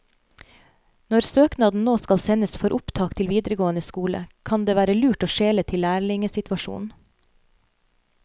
Når søknaden nå skal sendes for opptak til videregående skole, kan det være lurt å skjele til lærlingesituasjonen.